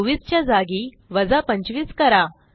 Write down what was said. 24 च्या जागी वजा 25 करा